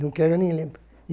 Não quero nem lembrar.